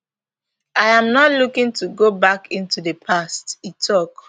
i am not looking to go back into di past e tok